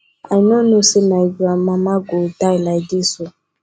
i no know say my grand mama go die like dis ooo